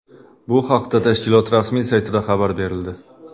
Bu haqda tashkilot rasmiy saytida xabar berildi .